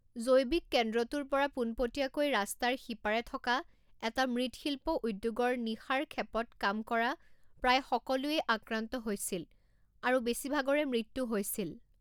জৈৱিক কেন্দ্ৰটোৰ পৰা পোনপটীয়াকৈ ৰাস্তাৰ সিপাৰে থকা এটা মৃৎশিল্প উদ্যোগৰ নিশাৰ খেপত কাম কৰা প্ৰায় সকলোৱেই আক্ৰান্ত হৈছিল আৰু বেছিভাগৰে মৃত্যু হৈছিল।